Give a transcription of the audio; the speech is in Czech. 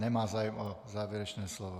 Nemá zájem o závěrečné slovo.